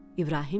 İbrahim dedi: